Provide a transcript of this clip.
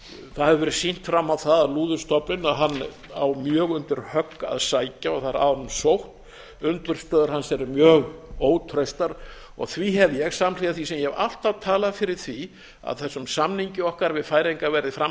það hefur verið sýnt fram á það að lúðustofninn á mjög undir högg að sækja og það er að honum sótt undirstöður hans eru mjög ótraustar og því hef ég samhliða því sem ég hef alltaf talað fyrir því að þessum samningi okkar við færeyinga verði fram